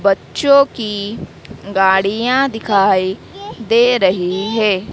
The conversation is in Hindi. बच्चों की गाड़ियां दिखाई दे रही है।